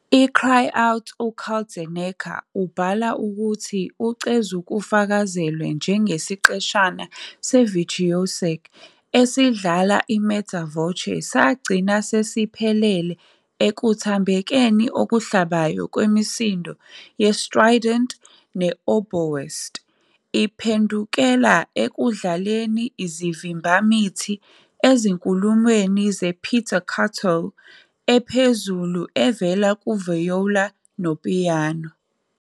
I-Cry Out, uKaltenecker ubhala ukuthi ucezukufakazelwe njengesiqeshana se-virtuosic esidlala i-mezza voce, sagcina sesiphelele ekuthambekeni okuhlabayo kwemisindo ye-strident, i-oboist iphendukela ekudlaleni izivimbamithi ezinkulumweni nge-pizzicati ephezulu evela ku-viola nopiyano.